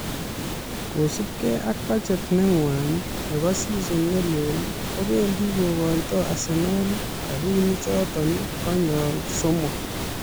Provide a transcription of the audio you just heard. kosubgei ak budget neng'wa nebo season ne leel kobendi kokoitoi Arsenal rabiinichoto konyol somok